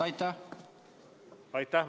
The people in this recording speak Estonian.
Aitäh!